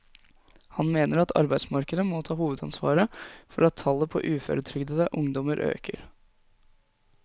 Han mener at arbeidsmarkedet må ta hovedansvaret for at tallet på uføretrygdede ungdommer øker.